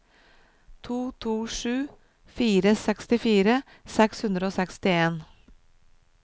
to to sju fire sekstifire seks hundre og sekstien